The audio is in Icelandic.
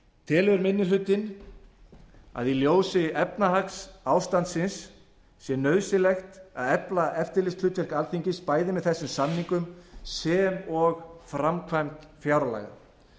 telur annar minni hluti í ljósi efnahagsástandsins nauðsynlegt að efla eftirlitshlutverk alþingis bæði með þessum samningum sem og framkvæmd fjárlaga